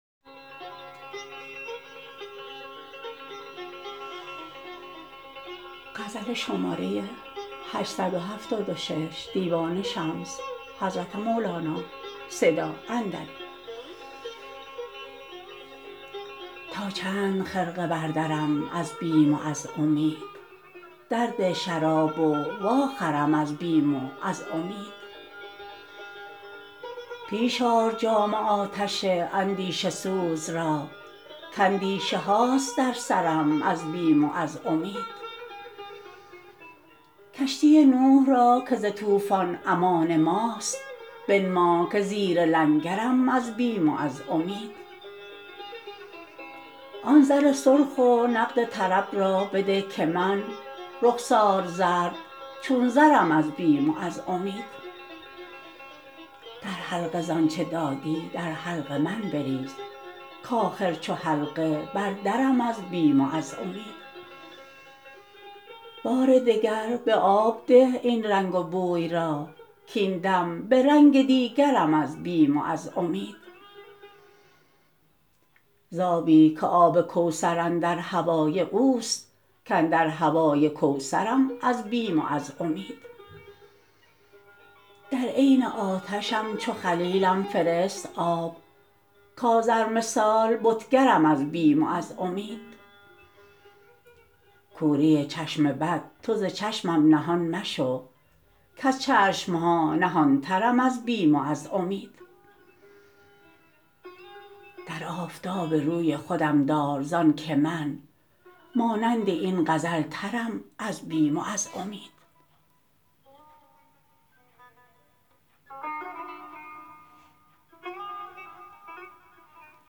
تا چند خرقه بردرم از بیم و از امید در ده شراب و واخرام از بیم و از امید پیش آر جام آتش اندیشه سوز را کاندیشه هاست در سرم از بیم و از امید کشتی نوح را که ز طوفان امان ماست بنما که زیر لنگرم از بیم و از امید آن زر سرخ و نقد طرب را بده که من رخسار زرد چون زرم از بیم و از امید در حلقه ز آنچ دادی در حلق من بریز کآخر چو حلقه بر درم از بیم و از امید بار دگر به آب ده این رنگ و بوی را کاین دم به رنگ دیگرم از بیم و از امید ز آبی که آب کوثر اندر هوای اوست کاندر هوای کوثرم از بیم و از امید در عین آتشم چو خلیلم فرست آب کآذر مثال بتگرم از بیم و از امید کوری چشم بد تو ز چشمم نهان مشو کز چشم ها نهانترم از بیم و از امید در آفتاب روی خودم دار زانک من مانند این غزل ترم از بیم و از امید